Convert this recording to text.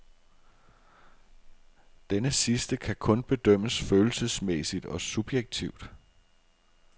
Denne sidste kan kun bedømmes følelsesmæssigt og subjektivt.